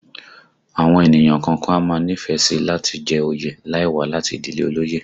Àwọn ènìyàn kọ̀ọ̀kan a máa nífẹ̀ẹ́ sí i láti jẹ oyè láì wá láti ìdílé olóyè